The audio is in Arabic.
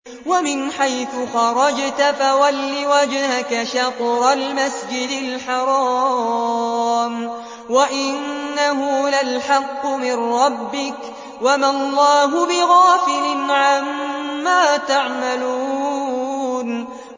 وَمِنْ حَيْثُ خَرَجْتَ فَوَلِّ وَجْهَكَ شَطْرَ الْمَسْجِدِ الْحَرَامِ ۖ وَإِنَّهُ لَلْحَقُّ مِن رَّبِّكَ ۗ وَمَا اللَّهُ بِغَافِلٍ عَمَّا تَعْمَلُونَ